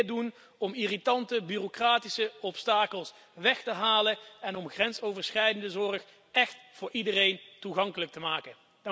We moeten meer doen om irritante bureaucratische obstakels weg te nemen en grensoverschrijdende zorg echt voor iedereen toegankelijk te maken.